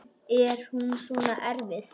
Er hún svona erfið?